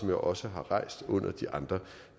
jeg også har rejst under de andre